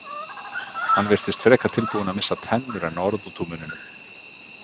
Hann virtist frekar tilbúinn að missa tennur en orð út úr munninum.